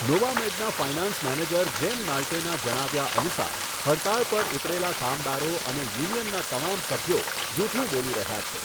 નોવામેડના finance manager જેમ નાલ્ટેના જણાવ્યા અનુસાર, હડતાળ પર ઉતરેલા કામદારો અને યુનિયનના તમામ સભ્યો જૂઠું બોલી રહ્યા છે.